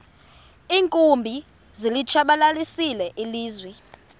iinkumbi zilitshabalalisile ilizwe